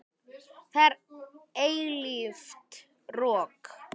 Það er eilíft rok.